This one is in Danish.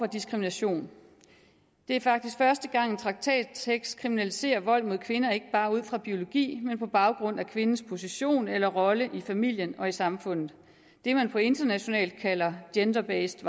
diskrimination det er faktisk første gang at en traktattekst kriminaliserer vold mod kvinder ikke bare ud fra biologi men på baggrund af kvindens position eller rolle i familien og i samfundet det man internationalt kalder gender based